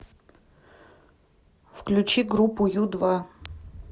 включи группу ю два